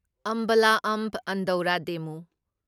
ꯑꯝꯕꯥꯂꯥ ꯑꯝꯕ ꯑꯟꯗꯧꯔ ꯗꯦꯃꯨ